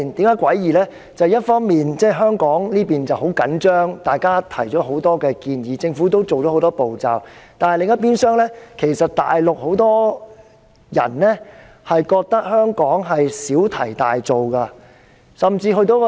因為一邊廂，香港十分緊張，大家提出了很多建議，而政府亦採取了很多步驟，但另一邊廂，其實大陸有很多人認為香港小題大做。